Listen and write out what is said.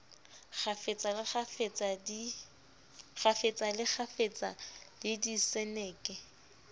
kgafetsa le kgafetsa le diseneke